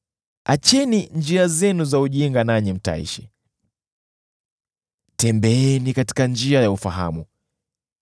Acheni njia zenu za ujinga nanyi mtaishi; tembeeni katika njia ya ufahamu.